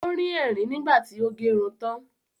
Ó rín ẹ̀rìn nígbà tí ó gerun tán